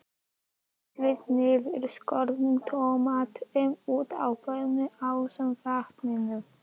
Hellið niðurskornu tómötunum út á pönnuna ásamt vatninu.